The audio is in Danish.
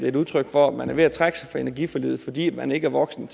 et udtryk for at man er ved at trække sig fra energiforliget fordi man ikke er voksen